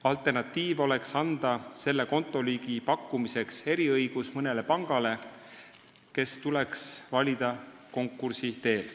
Alternatiiv oleks anda selle kontoliigi pakkumiseks eriõigus mõnele pangale, kes tuleks valida konkursi teel.